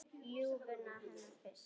Ljúfuna hennar fyrst.